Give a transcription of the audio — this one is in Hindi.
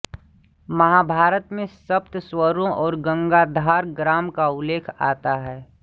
महाभारत में सप्त स्वरों और गांधार ग्राम का उल्लेख आता है